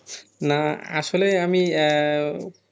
না আসলে আমি আহ